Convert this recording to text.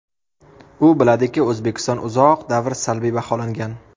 U biladiki, O‘zbekiston uzoq davr salbiy baholangan.